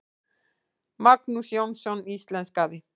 Magnús Jónsson íslenskaði.